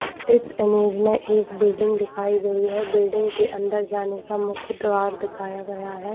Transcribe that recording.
इस इमेज में एक बिल्डिंग दिखाई गई हैबिल्डिंग के अंदर जाने का मुख्य दीवार दिखाया गया है।